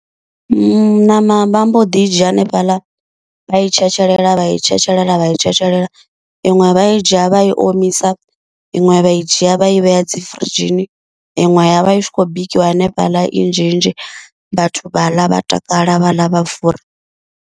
Ṋama vha mbo ḓi i dzhia hanefhala vha i tshetshelela vha i tshetshelela vha i tshetshelela, iṅwe vha i dzhia vha i omisa, iṅwe vha i dzhia vha i vhea dzi firidzhini, iṅwe ya vha i tshi khou bikiwa hanefhaḽa i nzhinzhi vhathu vha ḽa vha takala vha ḽa vha fura.